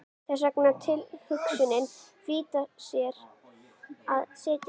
Við þessa tilhugsun flýtti hún sér að setjast upp.